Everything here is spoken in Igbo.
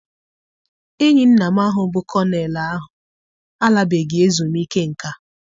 Enyi nna m ahụ bụ kọnel ahụ alabeghị ezumike nká.